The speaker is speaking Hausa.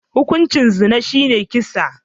Hukuncin zina shine saki.